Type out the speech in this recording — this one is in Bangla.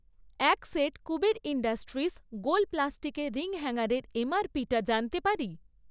এক সেট কুবের ইন্ডাস্ট্রিস গোল প্লাস্টিকের রিং হ্যাঙ্গারের এমআরপিটা জানতে পারি?